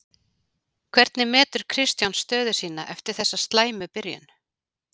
Hvernig metur Kristján sína stöðu eftir þessa slæmu byrjun?